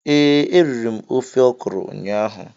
Ee, eriri m ofe ọkrọ ụnyaahụ